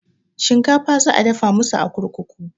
Shinkafa za a dafa masu a kurkuku